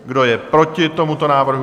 Kdo je proti tomuto návrhu?